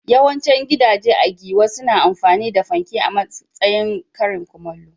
Yawancin gidaje a Giwa suna amfani da fanke a matsayin karin kumallo.